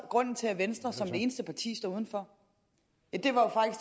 grunden til at venstre som det eneste parti stod uden for